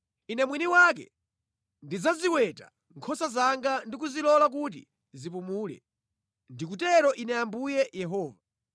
Ine mwini wake ndidzaziweta nkhosa zanga ndi kuzilola kuti zipumule. Ndikutero Ine Ambuye Yehova.